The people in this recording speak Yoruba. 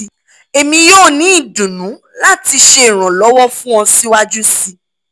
emi yoo ni idunnu lati ṣe iranlọwọ fun ọ siwaju sii